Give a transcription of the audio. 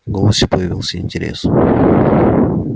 в голосе появился интерес